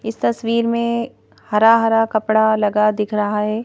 इस तस्वीर में हरा-हरा कपड़ा लगा दिख रहा है।